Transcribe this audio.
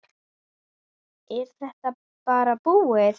Er þetta bara búið?